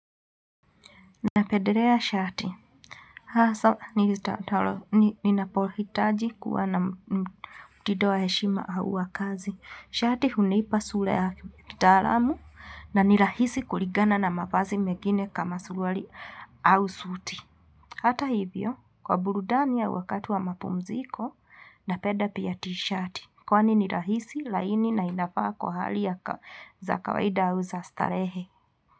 Na pedelea shati, nina pohitaji kuwa na mtindo wa heshima au wa kazi. Shati huniipa sura ya kitaalamu na nirahisi kulingana na mavazi megine kama surwali au suti. Hata hivyo, kwa burudani au wakati wa mapumziko, na penda pia ti shati. Kwa ni ni nirahisi, laini na inafaa kwa hali yaka za kawaida au za stalehe.